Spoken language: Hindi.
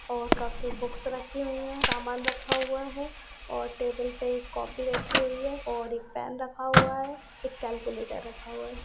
और काफी बुक्स रखीं हुई है सामान रखा हुआ है और टेबल पे एक कॉपी रखीं हुई है और एक पैन रखा हुआ है एक कॅल्क्युलेटर रखा हुआ है।